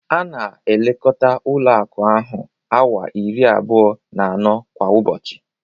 A na-elekota Ụlọ akụ ahụ awaa iri abụọ na anọ kwa ụbọchị.